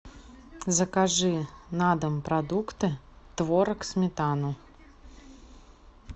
закажи на дом продукты творог сметану